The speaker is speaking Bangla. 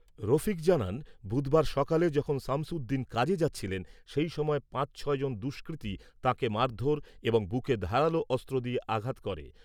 রফিক জানান, বুধবার সকালে যখন সামসুদ্দীন কাজে যাচ্ছিলেন, সেই সময় পাঁচ ছয় জন দুষ্কৃতী তাঁকে মারধর এবং বুকে ধারালো অস্ত্র দিয়ে আঘাত করে।